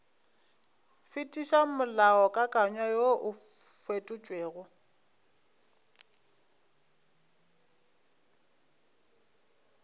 fetiša molaokakanywa woo o fetotšwego